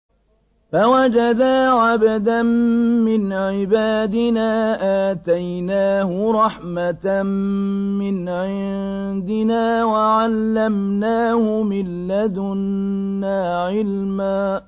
فَوَجَدَا عَبْدًا مِّنْ عِبَادِنَا آتَيْنَاهُ رَحْمَةً مِّنْ عِندِنَا وَعَلَّمْنَاهُ مِن لَّدُنَّا عِلْمًا